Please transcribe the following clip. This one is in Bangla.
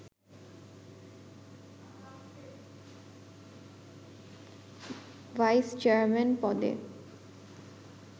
ভাইস চেয়ারম্যান পদে